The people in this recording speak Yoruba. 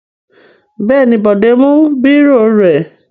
Bẹ́ẹ̀ ni, Bọ̀dé mú bírò rẹ̀.